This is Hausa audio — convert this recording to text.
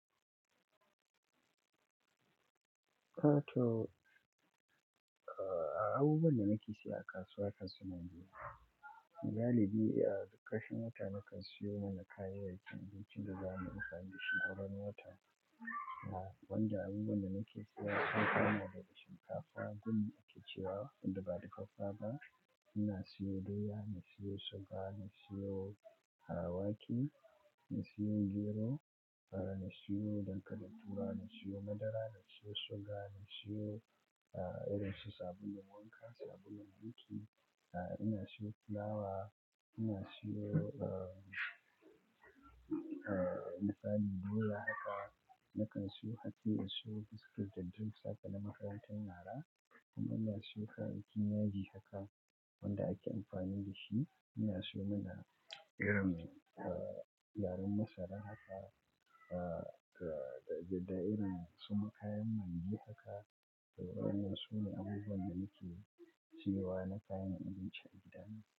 Eh to, ah abubuwan da nake siya a kasuwa ga su nan ne. Dalili a ƙarshen wata nakan siyo ma na kayan abincin da zamu yi amfani da shi a wannan watan. Wanda abubuwan da nake siya haka na da shinkafa, duk me ake cewa, in daɓa dafaffafa. Ina siyo doya, na siyo suga, na siyo awaki, na siyo gero, na siyo dankalin turawa, na siyo madara, na siyo suga, na siyo ah, irin shi sabulun wanka, sabulun wanki, ina siyo fulawa, ina siyo eh, eh, niƙani doya haka. Nakan siyo hatsi, na siyo biskit da drinks haka na makarantun yara. Kuma ina siyo kayan kiyaye haka wanda ake amfani da shi. Ina siyo mana irin ah, yaron madara haka ah, da irin su ma kayan maggi haka. Waɗannan su ne abubuwan da nake siyowa na kayan abinci a gida.